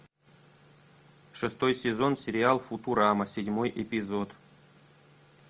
шестой сезон сериал футурама седьмой эпизод